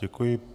Děkuji.